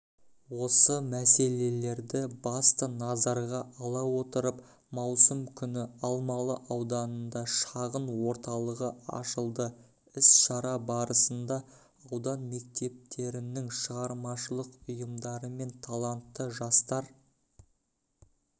осы мәселелерді басты назарға ала отырып маусым күні алмалы ауданында шағын-орталығы ашылды іс-шара барысында аудан мектептерінің шығармашылық ұйымдары мен талантты жастар